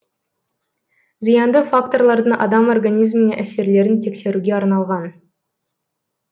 зиянды факторлардың адам организміне әсерлерін тексеруге арналған